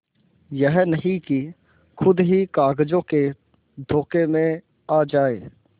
यह नहीं कि खुद ही कागजों के धोखे में आ जाए